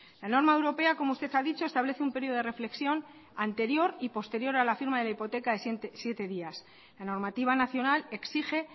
la norma europea como usted ha dicho establece un periodo de reflexión anterior y posterior a la firma de la hipoteca de siete días la normativa nacional exige